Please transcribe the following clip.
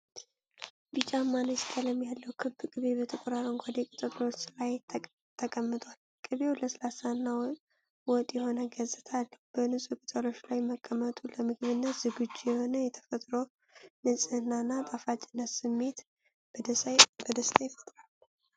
ቢጫማ ነጭ ቀለም ያለው ክብ ቅቤ በጥቁር አረንጓዴ ቅጠሎች ላይ ተቀምጧል። ቅቤው ለስላሳና ወጥ የሆነ ገጽታ አለው። በንፁህ ቅጠሎች ላይ መቀመጡ ለምግብነት ዝግጁ የሆነ የተፈጥሮ ንጽህናና ጣፋጭነት ስሜት በደስታ ይፈጥራል።